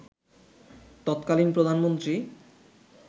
তৎকালীন প্রধানমন্ত্রী